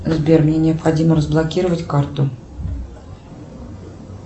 сбер мне необходимо разблокировать карту